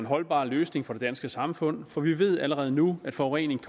holdbar løsning for det danske samfund for vi ved allerede nu at forureningen